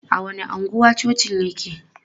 A wani anguwa cocin yake?